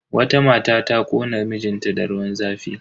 Wata mata ta kona mijin ta da ruwan zafi.